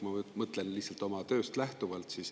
Ja noh, ma mõtlen lihtsalt oma tööst lähtuvalt.